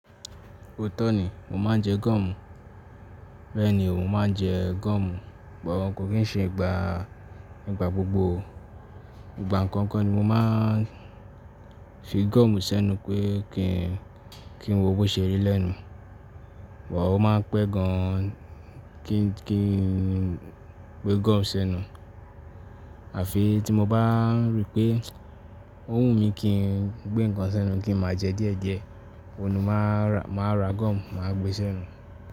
Ó tọ́ ni, mo máa ń jẹ gọ̀mù. Bẹ́ẹ̀ni, mo máa ń jẹ gọ̀mù, bọ ko kí n ṣe ìgbà, ìgbà gbogbo. Ìgbà kankan ni mo máa ń fi gọ̀mù sẹ́nu pé kí n, kí n wo bó ṣe rí lẹ́nu, bọ̀wọ̀ ó máa ń pẹ́ gan kí n, kí n gbé gọ̀mù sẹ́nu. Àfi tí mo bá rí pé ń o wù mí kí n gbé nǹkan sẹ́nu kí n máa jẹ diẹ̀ diẹ, òun ni máa ra, máa ra gọ̀mù, màá gbé sẹ́nu.